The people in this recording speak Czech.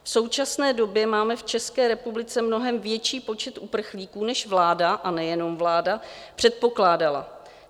V současné době máme v České republice mnohem větší počet uprchlíků, než vláda, a nejenom vláda, předpokládala.